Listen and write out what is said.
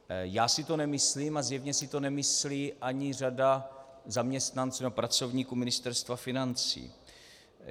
Já si to nemyslím a zjevně si to nemyslí ani řada zaměstnanců a pracovníků Ministerstva financí.